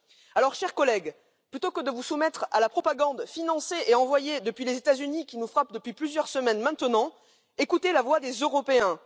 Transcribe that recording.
Alors, chers collègues, plutôt que de vous soumettre à la propagande financée et envoyée depuis les États Unis, qui nous frappe depuis plusieurs semaines maintenant, écoutez la voix des Européens.